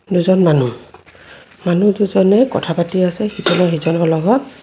দুজন মানুহ মানুহ দুজনে কথা পাতি আছে ইজনে সিজনৰ লগত.